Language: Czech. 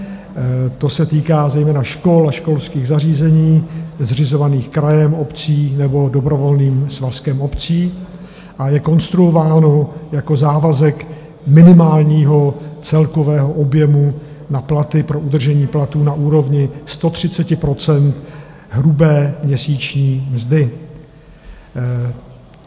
To se týká zejména škol a školských zařízení zřizovaných krajem, obcí nebo dobrovolným svazkem obcí a je konstruováno jako závazek minimálního celkového objemu na platy pro udržení platů na úrovni 130 % hrubé měsíční mzdy.